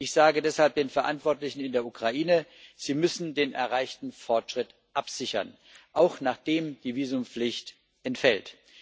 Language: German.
Ich sage deshalb den Verantwortlichen in der Ukraine Sie müssen den erreichten Fortschritt absichern, auch nachdem die Visumpflicht entfällt.